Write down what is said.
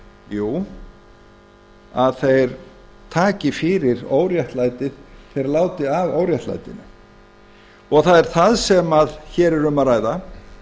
jú að þeir taki fyrir óréttlætið þeir láti af óréttlætinu það er það sem hér er um að ræða